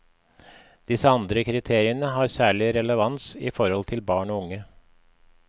Disse andre kriteriene har særlig relevans i forhold til barn og unge.